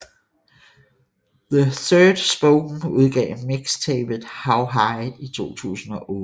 The Ill Spoken udgav mixtapet How High i 2008